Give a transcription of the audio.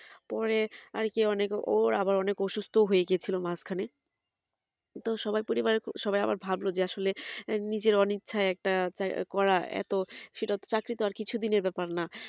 পরে আরকি ও আবার অনেক আসুস্থ হয়েগিছিল মাজখানে তো সবাই পরিবারে সবাই আবার ভাবলো যে আসলে নিজের অনিচ্ছায় একটা করা সেটা তো চাকরি তো আর কিছু দিনের ব্যাপার না